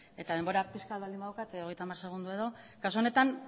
eta denbora pixka bat baldin badaukat hogeita hamar segundo edo kasu honetan